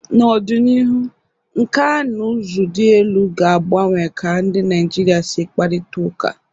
N'ọdịnihu, nkà na ụzụ dị elu ga-agbanwe ka ndị Naịjirịa si akparịta ụka.